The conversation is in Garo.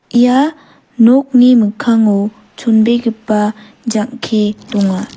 ia nokni mikkango chonbegipa jang·ke donga.